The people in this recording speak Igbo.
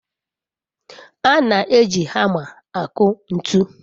a na-eji hama aku ntu